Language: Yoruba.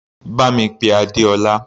Bá mi pé Adeola.